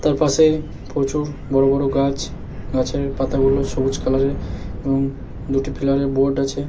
তার পাশে প্রচুর বড় বড় গাছ। গাছের পাতাগুলো সবুজ কালার -এর এবং দুটি পিলারে বোর্ড আছে।